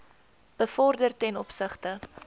bevorder ten opsigte